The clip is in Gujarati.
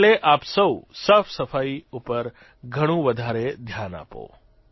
એટલે આપ સૌ સાફસફાઇ ઉપર ઘણું વધારે ધ્યાન આપો